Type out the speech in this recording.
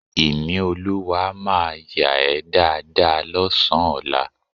Ìníolúwa máa yà ẹ́ dáadáa lọ́sàn-án ọlá